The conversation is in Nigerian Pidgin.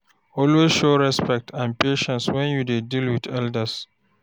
Always show respect and patience when you dey deal with elders